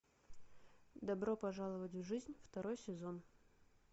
добро пожаловать в жизнь второй сезон